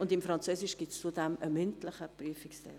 In Französisch gibt es zudem einen mündlichen Prüfungsteil.